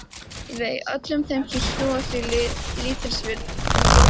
Vei öllum þeim sem sýna því lítilsvirðingu.